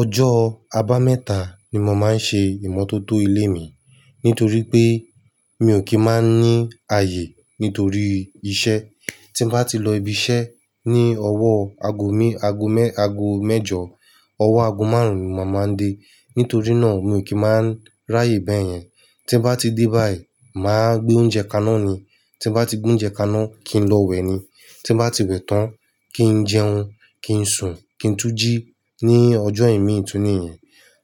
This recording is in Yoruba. Ọjọ́ aba mẹ́ta ni mo máa ń ṣe ìmọ́tótó ilé mi. Nítorí pé mi ò kì í máa ní ààyè nítorí iṣẹ́. Tí bá ti lọ ibi iṣẹ́ ní ọwọ́ ago me-ago mẹ-ago mẹ́jọ, ọwọ́ ago márùn-ún ni màá máa dé. Nítorí náà mi ò kì í máa ráyè bẹ́ẹ̀ yẹn. Tí bá ti dé báyìí, màá gbé oúnjẹ kaná ni. Tí bá ti gbé oúnjẹ kaná, kí n lọ wẹ ni. Tí bá ti wẹ̀ tán, kí n jẹun, kí n sùn, kí n tún jí ní ọjọ́ èmi tún níyen.